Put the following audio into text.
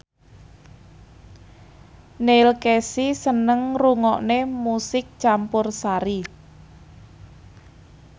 Neil Casey seneng ngrungokne musik campursari